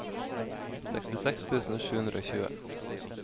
sekstiseks tusen sju hundre og tjue